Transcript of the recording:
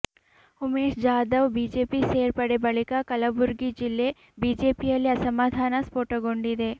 Umesh Jadhav BJP ಸೇರ್ಪಡೆ ಬಳಿಕ ಕಲಬುರಗಿ ಜಿಲ್ಲೆ ಬಿಜೆಪಿಯಲ್ಲಿ ಅಸಮಾಧಾನ ಸ್ಪೋಟಗೊಂಡಿದೆ